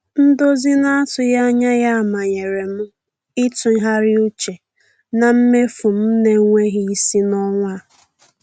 Ndozi na-atụghị anya ya manyere m ịtụgharị uche na mmefu m na-enweghị isi n'ọnwa a.